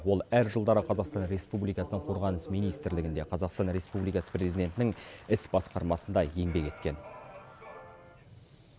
ол әр жылдары қазақстан республикасының қорғаныс министрлігінде қазақстан республикасы президентінің іс басқармасында еңбек еткен